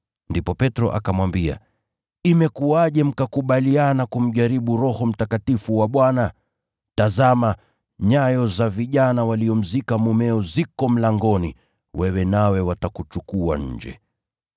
Ndipo Petro akamwambia, “Imekuwaje mkakubaliana kumjaribu Roho wa Bwana? Tazama! Nyayo za vijana waliomzika mumeo ziko mlangoni, wewe nawe watakuchukua nje.”